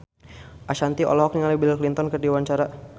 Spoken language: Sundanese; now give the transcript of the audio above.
Ashanti olohok ningali Bill Clinton keur diwawancara